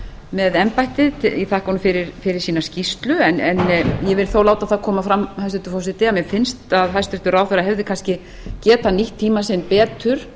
með embættið ég þakka honum fyrir skýrsluna en vil þó láta það koma fram hæstvirtur forseti að mér finnst að hæstvirtur ráðherra hefði kannski getað nýtt tíma sinn betur